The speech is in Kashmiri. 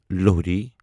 لوہری